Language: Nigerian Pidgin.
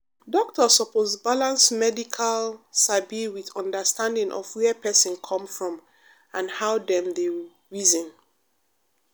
doctor suppose balance medical sabi with understanding of where person come from and how dem dey reason.